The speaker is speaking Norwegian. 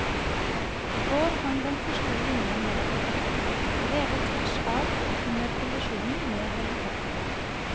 I går hang den første linjen ned i bakken, revet tvers av under kollisjonen med helikopteret.